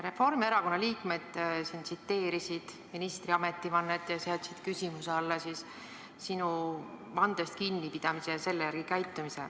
Reformierakonna liikmed tsiteerisid ministri ametivannet ning seadsid küsimuse alla sinu vandest kinnipidamise ja selle järgi käitumise.